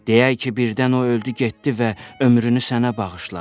Deyək ki birdən o öldü getdi və ömrünü sənə bağışladı.